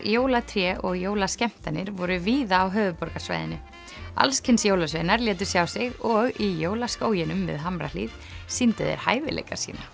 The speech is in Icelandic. jólatré og jólaskemmtanir voru víða á höfuðborgarsvæðinu alls kyns jólasveinar létu sjá sig og í Jólaskóginum við Hamrahlíð sýndu þeir hæfileika sína